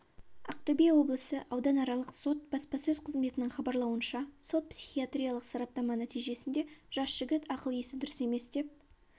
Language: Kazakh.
ақтөбе облысы ауданаралық сот баспасөз қызметінің хабарлауынша сот-психиатриялық сараптама нәтижесінде жас жігіт ақыл-есі дұрыс емес деп